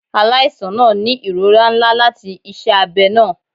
Alaisan naa ni irora nla lati iṣẹ abẹ naa